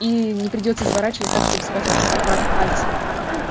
и не придётся изворачиваться так чтобы схватить как-то аккуратно пальцами